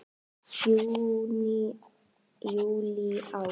Júní Júlí Ágúst